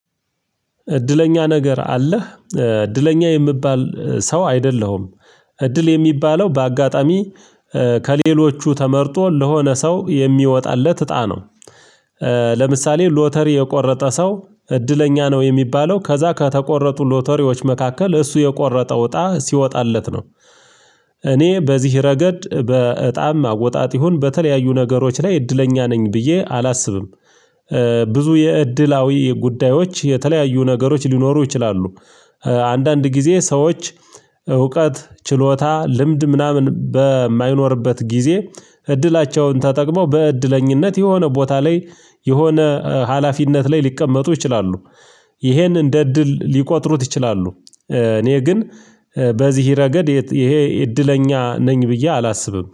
እድለኛ ነገር አለህ? እድለኛ የምባል ሰው አይደለሁም። እድል የሚባለው በአጋጣሚ ከሌሎቹ ተመርጦ ለሆነ ሰው የሚወጣለት እጣ ነው። ለምሳሌ ሎተሪ የቆረጠ ሰው እድለኛ ነው የሚባለው ከዛ ከተቆረጡ ሎተሪዎች መካከል እሱ የቆረጠው እጣ ሲወጣለት ነው። እኔ በዚህ ረገድ በእጣም አወጣጥ ይሁን በተለያዩ ነገሮች ላይ እድለኛ ነኝ ብዬ አላስብም። ብዙ የእድላዊ የጉዳዮች የተለያዩ ነገሮች ሊኖሩ ይችላሉ። አንዳንድ ግዜ ሰዎች እውቀት ችሎታ ልምድ ምናምን በማይኖርበት ጊዜ እድላቸውን ተጠቅመው በእድለኝነት የሆነ ቦታ ላይ የሆነ ሀላፊነት ላይ ሊቀመጡ ይችላሉ። ይሄን እንደ እድል ሊቆጥሩት ይችላሉ። እኔ ግን በዚህ ረገድ ይሄ እድለኛ ነኝ ብዬ አላስብም